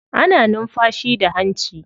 Ana numfashi da hanci.